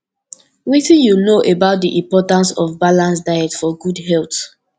wetin you know about di importance of balanced diet for good health